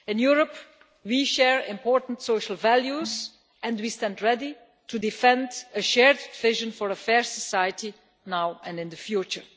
In Europe, we share important social values and we stand ready to defend a shared vision for a fair society now and in the future.